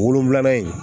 Wolonfilanan in